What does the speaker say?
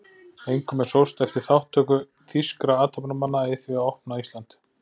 Einkum er sóst eftir þátttöku þýskra athafnamanna í því að opna Ísland